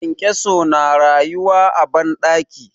kyankyaso na rayuwa a banɗaki